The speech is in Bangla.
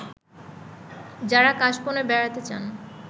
যারা কাশবনে বেড়াতে চান